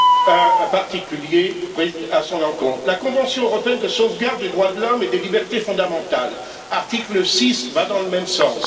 ne soit prise à son encontre. L'article 6 de la convention européenne de sauvegarde des droits de l'homme et des libertés fondamentales va dans le même sens.